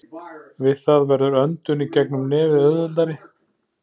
Við það verður öndun í gegnum nefið auðveldari.